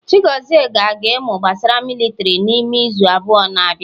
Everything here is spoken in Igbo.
Chigozie ga-aga imu gbasara militiri n'ime izu abụọ na bia